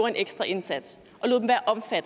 en ekstra indsats